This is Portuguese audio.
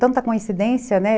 Tanta coincidência, né?